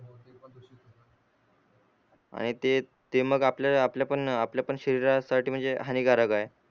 आणि ते ते मग आपल्या आपल्या पण आपल्या पण शरीरासाठी म्हणजे हानीकारक आहे